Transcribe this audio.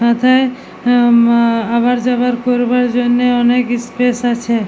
এথায় উম আওয়া যাওয়ার করবার জন্যে অনেক ইস্পেস আছে।